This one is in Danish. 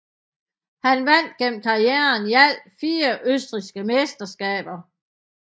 Han vandt gennem karrieren i alt fire østrigske mesterskaber